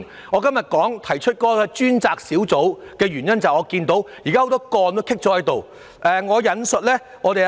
我今天提出成立專責小組的建議，是因為眼見很多積壓個案急須處理。